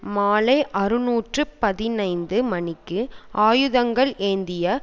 மாலை அறுநூற்று பதினைந்து மணிக்கு ஆயுதங்கள் ஏந்திய